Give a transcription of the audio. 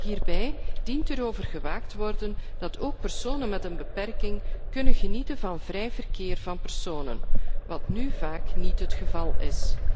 Hierbij dient erover gewaakt te worden dat ook personen met een beperking kunnen genieten van vrij verkeer van personen, wat nu vaak niet het geval is.